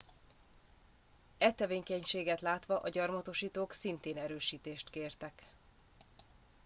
e tevékenységet látva a gyarmatosítók szintén erősítést kértek